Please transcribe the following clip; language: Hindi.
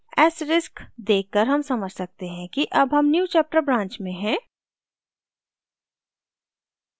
asterisk देख कर हम समझ सकते हैं कि अब हम newchapter branch में हैं